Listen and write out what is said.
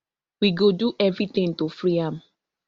we go do everytin to free am